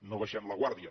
no baixem la guàrdia